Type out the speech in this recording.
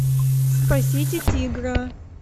спасите тигра